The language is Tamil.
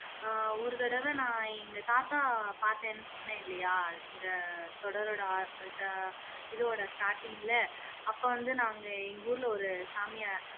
அஹ் ஒரு தடவை நான் எங்க தாத்தா பாத்தேன்னு சொன்னேன்லயா இந்த தொடரோடா ஆ இடதோட starting ல அப்போ வந்து நாங்க எங்க ஊர்ல ஒரு சாமியார்